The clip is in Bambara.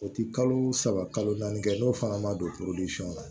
O ti kalo saba kalo naani kɛ n'o fana ma don na